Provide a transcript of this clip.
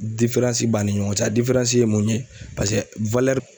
b'ani ɲɔgɔn cɛ a ye mun ye paseke